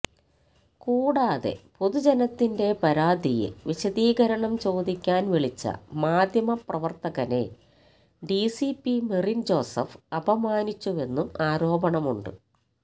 കൂടാതെ പൊതുജനത്തിന്റെ പരാതിയില് വിശദീകരണം ചോദിക്കാന് വിളിച്ച മാധ്യമപ്രവര്ത്തകനെ ഡിസിപി മെറിന് ജോസഫ് അപമാനിച്ചുവെന്നും ആരോപണമുണ്ട്